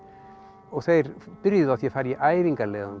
og þeir byrjuðu á því að fara í